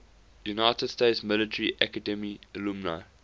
united states military academy alumni